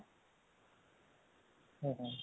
ହଁ ହଁ